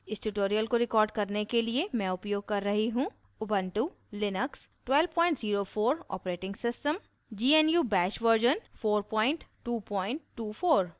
इस tutorial को record करने के लिए मैं उपयोग कर रही हूँ